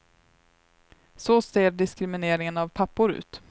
Så ser diskrimineringen av pappor ut.